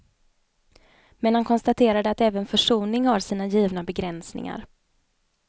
Men han konstaterade att även försoning har sina givna begränsningar.